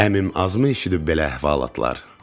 Əmim azmı eşidib belə əhvalatlar?